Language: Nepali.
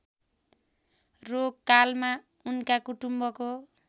रोगकालमा उनका कुटुम्बको